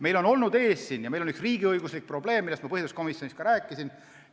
Meil on olnud üks riigiõiguslik probleem, millest ma põhiseaduskomisjonis ka rääkisin.